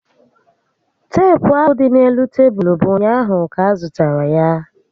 Teepu ahụ dị n'elu tebulu bụ ụnyaahụ ka a zụtara ya